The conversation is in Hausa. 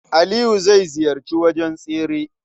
Aliyu zai ziyarci wajen tsere.